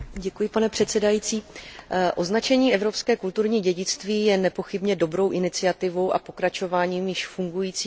Označení evropské kulturní dědictví je nepochybně dobrou iniciativou a pokračováním již fungujícího mezivládního projektu z roku